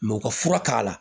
u ka fura k'a la